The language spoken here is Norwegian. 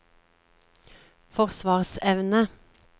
forsvarsevne